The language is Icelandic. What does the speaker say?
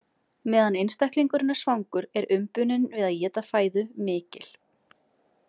Meðan einstaklingurinn er svangur er umbunin við að éta fæðu mikil.